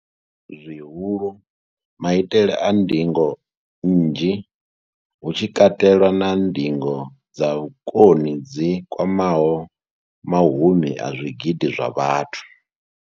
Zwihulu, maitele a ndingo nnzhi, hu tshi katelwa na ndingo dza vhukoni dzi kwamaho mahumi a zwigidi zwa vhathu.